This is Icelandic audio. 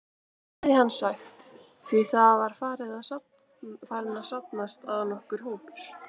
heyrði hann sagt, því það var farinn að safnast að nokkur hópur.